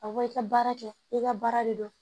A bɔ i ka baara kɛ i ka baara de do